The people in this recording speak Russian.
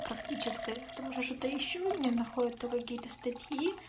практическая потому что ещё у меня находит то какие то статьи